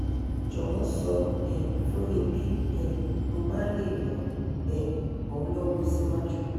jọwọ sọ um fún mi bí um mo bá lè ran um ọ́ lọ́wọ́ síwájú